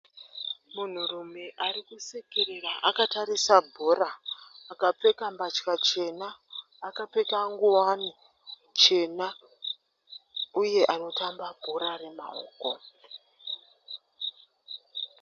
Munhurume arikusekerera akatarisa bhora. Akapfeka mbatya chena, akapfeka nguwani chena, uye anotamba bhora remaoko.